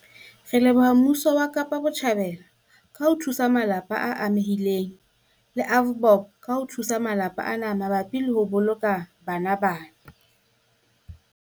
Re leboha mmuso wa Kapa Botjhabela ka ho thusa malapa a amehileng le AVBOB ka ho thusa malapa ana mabapi le ho boloka bana bana.